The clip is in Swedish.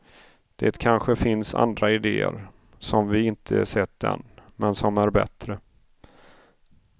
Det kanske finns andra idéer, som vi inte sett än, men som är bättre.